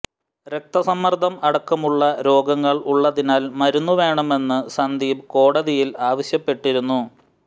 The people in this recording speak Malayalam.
രക്തസമ്മർദം അടക്കമുള്ള രോഗങ്ങൾ ഉള്ളതിനാൽ മരുന്ന് വേണമെന്ന് സന്ദീപ് കോടതിയിൽ ആവശ്യപ്പെട്ടിരുന്നു